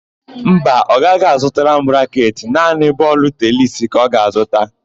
Mba, ọ gaghị azụtara m raketị; naanị bọọlụ tenisi ka ọ ga-azụta.